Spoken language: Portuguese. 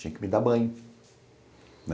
Tinha que me dar banho.